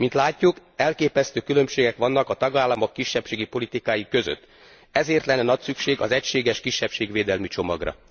Mint látjuk, elképesztő különbségek vannak a tagállamok kisebbségi politikái között. Ezért lenne nagy szükség az egységes kisebbségvédelmi csomagra.